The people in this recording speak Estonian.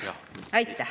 Aitäh!